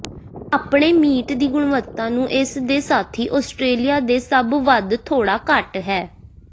ਆਪਣੇ ਮੀਟ ਦੀ ਗੁਣਵੱਤਾ ਨੂੰ ਇਸ ਦੇ ਸਾਥੀ ਆਸਟ੍ਰੇਲੀਆ ਦੇ ਸਭ ਵੱਧ ਥੋੜ੍ਹਾ ਘੱਟ ਹੈ